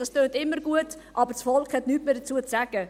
Das tönt immer gut, aber das Volk hat nichts mehr dazu zu sagen.